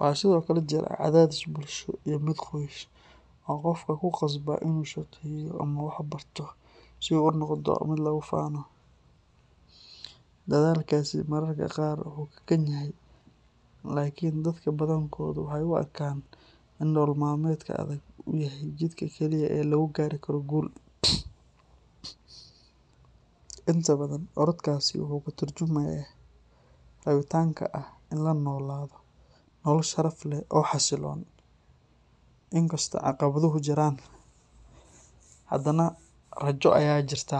Waxaa sidoo kale jira cadaadis bulsho iyo mid qoys oo qofka ku khasba inuu shaqeeyo ama wax barto si uu u noqdo mid lagu faano. Dadaalkaasi mararka qaar wuu kakan yahay, laakiin dadka badankoodu waxay u arkaan in nolol maalmeedka adag uu yahay jidka kaliya ee lagu gaari karo guul. Inta badan, orodkaasi wuxuu ka tarjumayaa rabitaanka ah in la noolaado nolol sharaf leh oo xasiloon, inkastoo caqabaduhu jiraan, haddana rajo ayaa jirta.